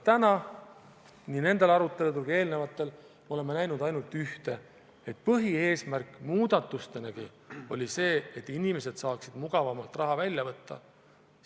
Aga nii nendel tänastel kui ka eelnevatel aruteludel olen ma näinud ainult ühte: põhieesmärk muudatustel oli see, et inimesed saaksid mugavamalt raha välja võtta.